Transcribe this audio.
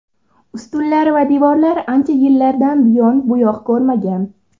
Ustunlari va devorlari ancha yillardan buyon buyoq ko‘rmagan.